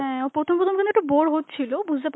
হ্যাঁ, ও প্রথম প্রথম কিন্তু একটু bore হচ্ছিল, বুঝতে